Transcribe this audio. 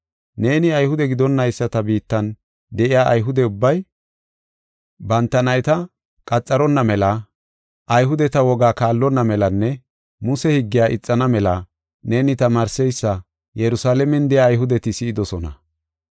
Neeni Ayhude gidonnayisata biittan de7iya Ayhude ubbay banta nayta qaxaronna mela, Ayhudeta wogaa kaallonna melanne Muse higgiya ixana mela neeni tamaarseysa Yerusalaamen de7iya Ayhudeti si7idosona.